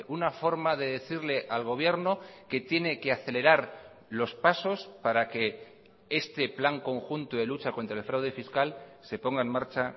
una forma de decirle al gobierno que tiene que acelerar los pasos para que este plan conjunto de lucha contra el fraude fiscal se ponga en marcha